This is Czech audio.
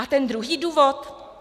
A ten druhý důvod?